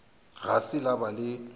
ga se la ba le